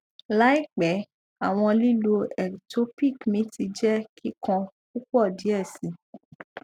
laipẹ awọn lilu ectopic mi ti jẹ kikan pupọ diẹ sii